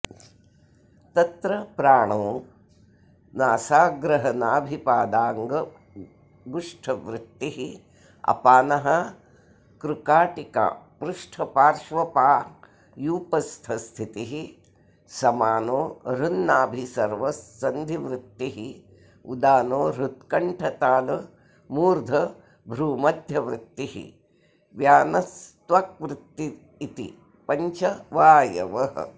तत्र प्राणो नासाग्रहृन्नाभिपादाङ्गुष्ठवृत्तिः अपानः कृकाटिकापृष्ठपार्श्वपायूपस्थवृत्तिः समानो हृन्नाभिसर्वसन्धिवृत्तिः उदानो हृत्कण्ठतालमूर्धभ्रूमध्यवृत्तिः व्यानस्त्वग्वृत्तिरिति पञ्च वायवः